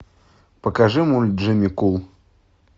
покажи мульт джимми кул